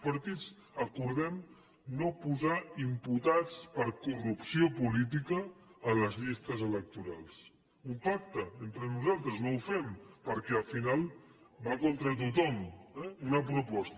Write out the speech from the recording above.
els partits acordem no posar imputats per corrupció política a les llistes electorals un pacte entre nosaltres no ho fem perquè al final va contra tothom eh una proposta